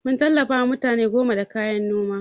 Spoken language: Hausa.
Mun tallafawa mutane goma da kayan Noma.